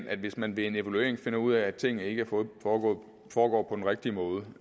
at hvis man ved en evaluering finder ud af at tingene ikke foregår foregår på den rigtige måde